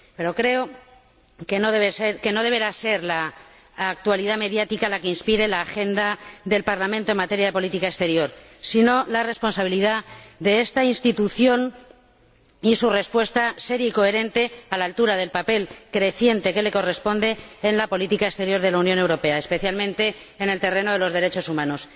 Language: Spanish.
Pero creo que no deberá ser la actualidad mediática la que inspire la agenda del Parlamento en materia de política exterior, sino la responsabilidad de esta institución y su respuesta seria y coherente, a la altura del papel creciente que le corresponde en la política exterior de la Unión Europea, especialmente en el terreno de los derechos humanos.